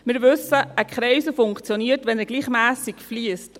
Wir wissen: Ein Kreisel funktioniert, wenn er gleichmässig fliesst.